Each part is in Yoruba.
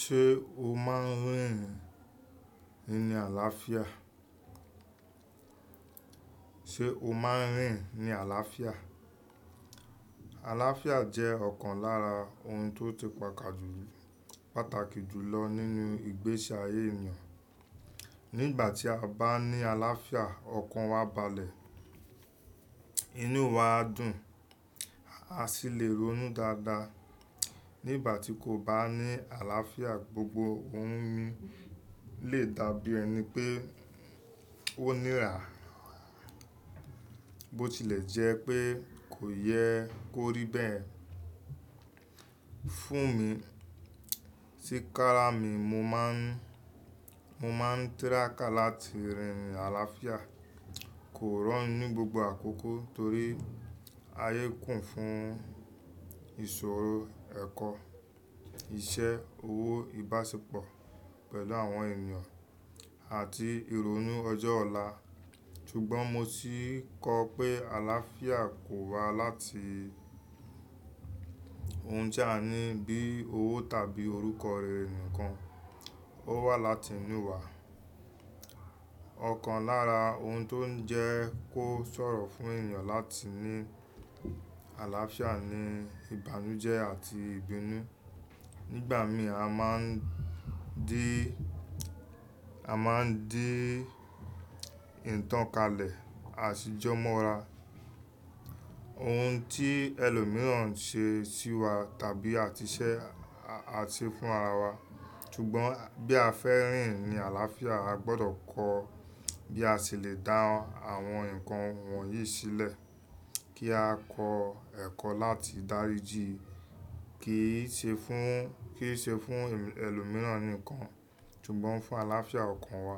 Ṣé o máa ń rìn ní àlàáfíà? Àlàáfíà jẹ́ ọ̀kan lára ohun tó ti pàtàkì jù lọ nínú ìgbésí ayé ènìyàn. Nígbà tí a bá ní àlàáfíà, ọkàn wa a balẹ̀, inú wa a dùn, a sì lè ronú dáadáa. Nígbà tí kò bá ní àlàáfíà, gbogbo ohun mi lè dàbí ẹni pé ó nira, bó tilẹ̀ jẹ́ pé kò yẹ kó rí bẹ́ẹ̀. Fún mi sí kára mi, mo máa ń tírákà láti rìn ní àlàáfíà. Kò rọrùn ní gbogbo àkókò torí ayé kún fún ìṣòro, ẹ̀kọ́, iṣẹ́, owó, ìbáṣepọ̀ pẹ̀lú àwọn ènìyàn àti ìrònú ọjọ́ ọ̀la. Sugbọ́n mo ti kọ pé àlàáfíà kò wá láti ohun tí a ní bí i owó tàbí orúkọ rere nìkan, ó wá láti inú wa. Ọ̀kan lára ohun tó ń jẹ́ kó sọ̀rọ̀ fún ènìyàn láti ní àlàáfíà ni ìbànújẹ́ àti ìbínú. Nígbà míì, a máa ń dí ìtàn kalẹ̀, àṣìjọ mọ́ra, ohun tí ẹlòmíràn ṣe sí wa tàbí a ti ṣe fún ara wa. Sugbọ́n bí a fẹ́ rìn ní àlàáfíà, a gbọdọ̀ kọ́ bí a ṣe lè dá àwọn nǹkan wọ̀nyí sílẹ̀. Kí á kọ ẹ̀kọ́ láti dáríji, kì í ṣe fún ẹlòmíràn nìkan, sugbọ́n fún àlàáfíà ọkàn wa.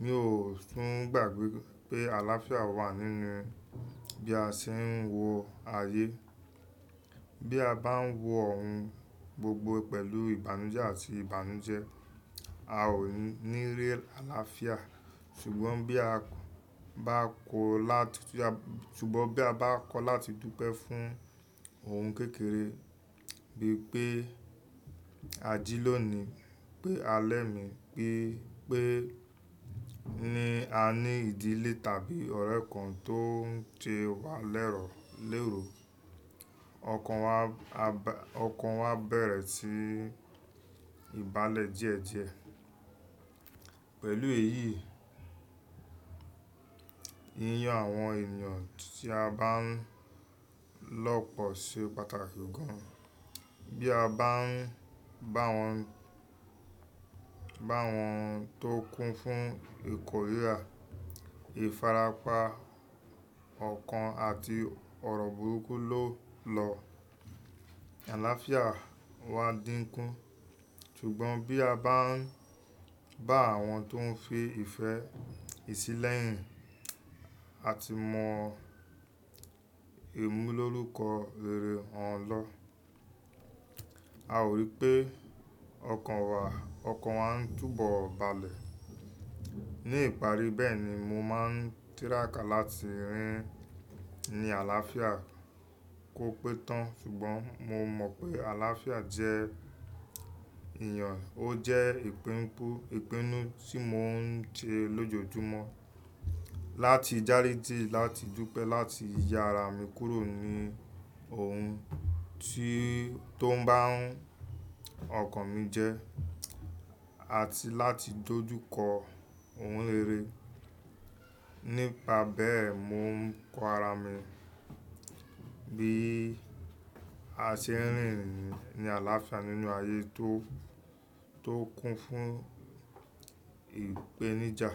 Mi ò tún gbàgbé pé àlàáfíà wà nínú bí a ṣe ń wo ayé. Bí a bá ń wo ohun gbogbo pẹ̀lú ìbànújẹ́ àti ìbànújẹ́, a ó ní rí àlàáfíà. Sugbọ́n bí a bá kọ̀ láti dúpẹ́ fún ohun kékeré bí i pé, a jí lónìí, pé a lẹ́mi, pé ní a ní ìdílé tàbí ọ̀rẹ́ kan tó ń ṣe wa lérò, ọkàn wa a bẹ̀rẹ̀ sí i balẹ̀ díẹ̀díẹ̀. Pẹ̀lú èyí, yíyan àwọn ènìyàn tí a bá ń lọ́pọ̀ ṣe pàtàkì gan. Bí a bá ń bá wọn tó kún fún ìkòríya, ìfarapa, ọ̀kan àti ọ̀rọ̀ burúkú ló lọ, àlàáfíà wa dínkù. Sugbọ́n bí a bá ń bá àwọn tó ń fi ìfẹ́ ìsílẹ̀ yìí a ti mọ ẹ̀mú lórúkọ rere wọn lọ, a ó rí pé ọkàn wa ń túbọ̀ balẹ̀. Ní ìparí bẹ́ẹ̀ ni mo máa ń tírápà láti rìn ní àlàáfíà kò pé tán. Sugbọ́n mo mọ̀ pé àlàáfíà jẹ́ èèyàn, ó jẹ́ ìpinu tí mò ń ṣe lójoojúmọ́ láti dáríji, láti dúpẹ́, láti ya ara mi kúrò ní ohun tó ń bá ọkàn mi jẹ́ àti láti dojú kọ ohun rere. Nípa bẹ́ẹ̀ mó ń kọ ara mi bí a ṣe ń rìn ní àlàáfíà nínú ayé tó kún fún ìpèníjà.